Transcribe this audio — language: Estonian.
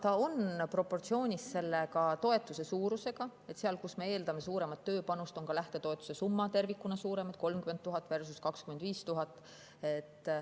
See on proportsioonis toetuse suurusega: seal, kus me eeldame suuremat tööpanust, on ka lähtetoetuse summa tervikuna suurem, 30 000 versus 25 000.